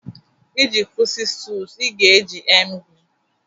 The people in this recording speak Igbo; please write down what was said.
iji kwụsị stools ị ga-eji emgly